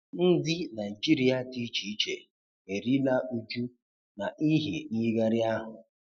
Ndi Naịjịrị di icheiche erila ụjụ na ịhi nyighari ahụ